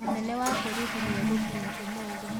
Mũnene wa borithi nĩegũkinya ũmũthĩ.